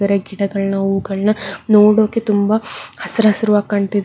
ಗಿಡಗಳನ ಅವುಗಳನ ನೋಡೋಕೆ ತುಂಬಾ ಹಸರ ಹಸರವಾಗಿ ಕಾಣ್ತಿದೆ.